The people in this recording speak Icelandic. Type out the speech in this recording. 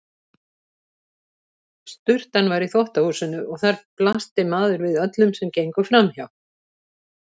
Sturtan var í þvottahúsinu og þar blasti maður við öllum sem gengu framhjá.